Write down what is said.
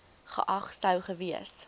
geag sou gewees